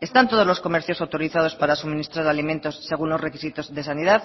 están todos los comercios autorizados para suministrar alimentos según los requisitos de sanidad